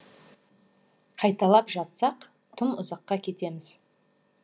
қайталап жатсақ тым ұзаққа кетеміз